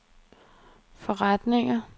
forretninger